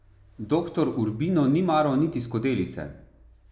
Doktor Urbino ni maral niti skodelice.